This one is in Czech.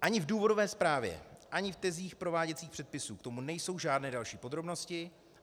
Ani v důvodové zprávě ani v tezích prováděcích předpisů k tomu nejsou žádné další podrobnosti.